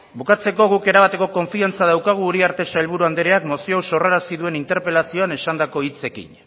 bukatzeko guk erabateko konfiantza daukagu uriarte sailburu andreak mozio hau sorrarazi duen interpelazioan esandako hitzekin